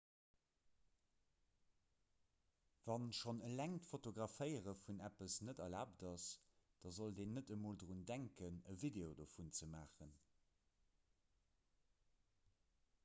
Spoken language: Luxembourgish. wa schonn eleng d'fotograféiere vun eppes net erlaabt ass da sollt een net emol drun denken e video dovun ze maachen